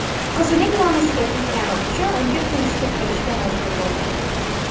qizining nomusiga teggani uchun unga turmushga berishga majbur bo‘lgan.